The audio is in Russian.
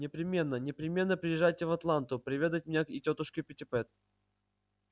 непременно непременно приезжайте в атланту проведать меня и тётушку питтипэт